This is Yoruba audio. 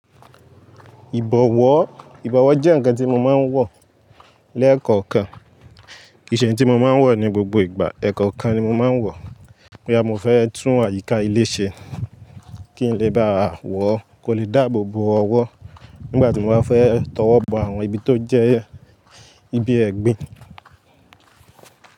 Ìbọ̀wọ́, ìbọ̀wọ́ jẹ́ ǹkan tí mọ máa ń wọ̀ lẹ́ẹ̀kọ̀kan. Kìí ṣe ǹ tí mo máa ń wọ̀ ní gbogbo ìgbà, ẹ̀ẹ̀kọ̀kan ni mo máa ń wọ̀. Bóyá mọ fẹ́ tún àyíká ilé ṣe, kí n lè bá wọ̀, kò lè dáàbòbo ọwọ́. Nígbà tí mo bá fẹ́ tọwọ́ bọ àwọn ibi tó jẹ́ ibi ẹ̀gbin.